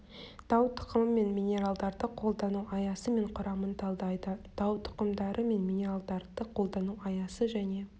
тау тұқымы мен минералдарды қолдану аясы және құрамын талдайды тау тұқымдары мен минералдарды қолдану аясы және